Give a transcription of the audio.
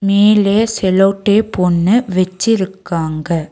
மேலே sellotape ஒன்னு வெச்சிருக்காங்க.